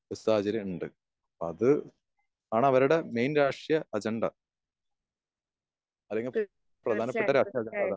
ഒരു സാഹചര്യോണ്ട്. അത് ആ അവരുടെ മെയിൻ രാഷ്ട്ര അജണ്ട. അവരുടെ പ്രധാനപ്പെട്ട രാഷ്ട്ര അജണ്ട അതാണ്.